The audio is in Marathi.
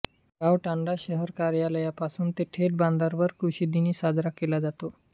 गाव तांडा शहर कार्यालयापासून ते थेेेट बांधावर कृृृषीदिन साजरा केला जातो